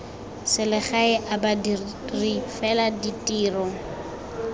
selegae a badiri fela ditiro